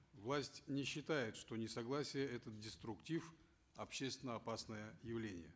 власть не считает что несогласие это деструктив общественно опасное явление